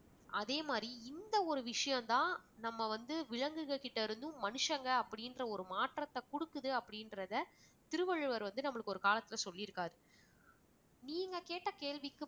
அதே மாதிரி இந்த ஒரு விஷயம்தான் நம்ம வந்து விலங்குகள் கிட்ட இருந்தும் மனுஷங்க அப்படிங்கிற மாற்றத்தை கொடுக்குது அப்படின்றத திருவள்ளுவர் வந்து நம்மளுக்கு ஒரு காலத்தில சொல்லிருக்காரு நீங்க கேட்ட கேள்விக்கு